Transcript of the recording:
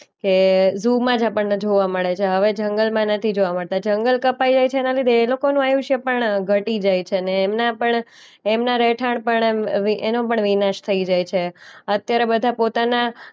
કે ઝૂમાં જ આપણને જોવા મળે છે. હવે જંગલમાં નથી જોવા મળતા. જંગલ કપાય જાય છે એના લીધે એ લોકોનું આયુષ્ય પણ ઘટી જાય છે ને એમના પણ એમના રહેઠાણ પણ એમ અ વી એનો પણ વિનાશ થઈ જાય છે. અત્યારે બધા પોતાના